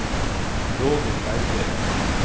Roger Berger